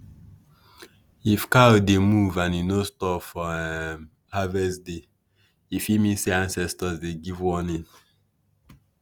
if cow dey moo and e no stop for um harvest day e fit mean say ancestors dey give warning.